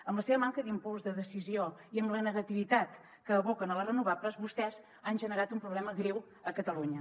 amb la seva manca d’impuls de decisió i amb la negativitat que aboquen a les renovables vostès han generat un problema greu a catalunya